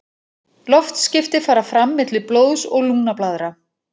Loftskipti fara fram milli blóðs og lungnablaðra.